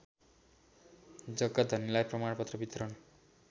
जग्गाधनीलाई प्रमाणपत्र वितरण